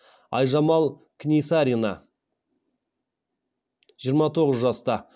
айжамал книсарина жиырма тоғыз жаста